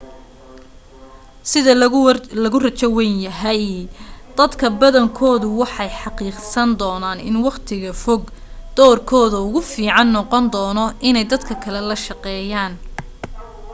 sida lagu rajo wayn yahay dadka badankoodu waxay xaqiiqsan doonaan in waqtiga fog doorkooda ugu fiican noqon doono inay dadka kale la shaqeeyaan